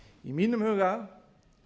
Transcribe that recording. í mínum huga